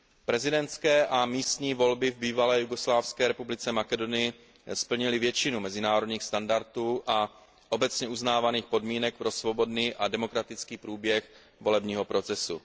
Prezidentské a místní volby v Bývalé jugoslávské republice Makedonii splnily většinu mezinárodních standardů a obecně uznávaných podmínek pro svobodný a demokratický průběh volebního procesu.